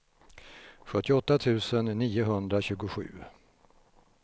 sjuttioåtta tusen niohundratjugosju